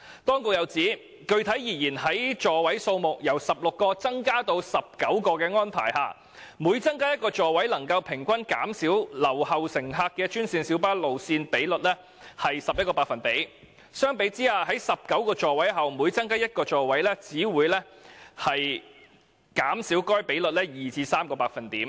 "政府又指出："具體而言，在座位數目由16個增加至19個的安排下，每增加一個座位能平均減少留後乘客的專線小巴路線比率11個百分點，相比之下，在19個座位後每增加一個座位，只會減少該比率2至3個百分點。